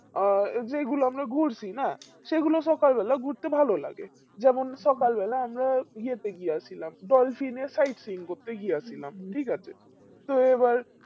আর যেইগুলো আমরা ঘুরছি না সেগুলিতে সকাল বেলা ঘুরতে ভালো লাগে যেমন সকালবেলা আমরা ইয়েতে গিয়া ছিলাম ডলফিনে side scene ঘুরতে গিয়েছিলাম